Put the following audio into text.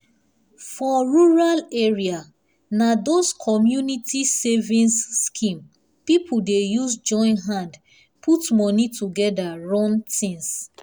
for rural area na those community savings scheme people dey use join hand put money together run things.